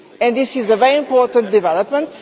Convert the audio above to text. This is a very important development.